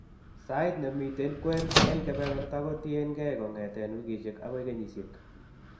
Sait ne miiten kween en keberberta kotien keey kongeten wikisiek agoi kenyisiek.